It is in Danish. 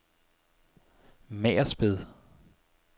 Magersped